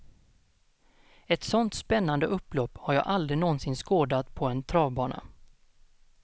Ett sånt spännande upplopp har jag aldrig nånsin skådat på en travbana.